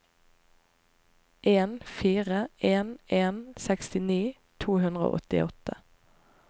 en fire en en sekstini to hundre og åttiåtte